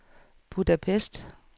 Budapest